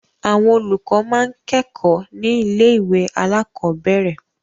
Àwọn olùkọ́ máa ń kẹ́kọ̀ọ́ ní ilé-ìwé alákọ̀ọ́bẹ̀rẹ̀.